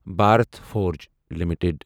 Bharat Forge limited